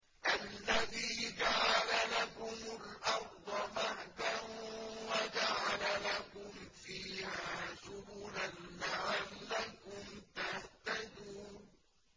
الَّذِي جَعَلَ لَكُمُ الْأَرْضَ مَهْدًا وَجَعَلَ لَكُمْ فِيهَا سُبُلًا لَّعَلَّكُمْ تَهْتَدُونَ